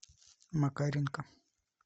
макаренко